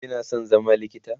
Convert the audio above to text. kina San zama likita?